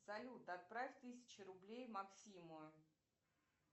салют отправь тысячу рублей максиму